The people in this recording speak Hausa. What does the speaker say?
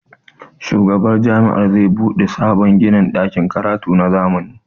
shugaban Jami'a za bude sabon ginin dakin karatu na zamani